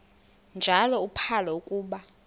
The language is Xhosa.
njalo uphalo akuba